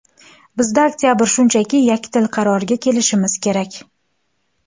Bizda oktabr, shunchaki yakdil qarorga kelishimiz kerak.